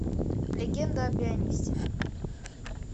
легенда о пианисте